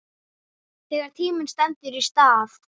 Þegar tíminn stendur í stað